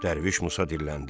Dərviş Musa dilləndi: